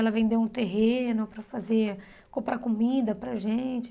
Ela vendeu um terreno para fazer... Comprar comida para gente.